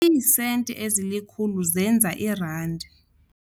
Iisenti ezilikhulu zenza irandi.